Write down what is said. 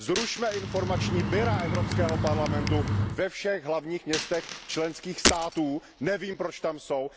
Zrušme informační kanceláře Evropského parlamentu ve všech hlavních městech členských států, nevím, proč tam jsou.